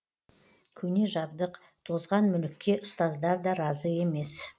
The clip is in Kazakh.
көне жабдық тозған мүлікке ұстаздар да разы емес